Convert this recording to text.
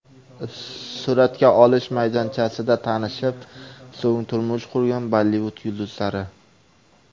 Suratga olish maydonchasida tanishib, so‘ng turmush qurgan Bollivud yulduzlari .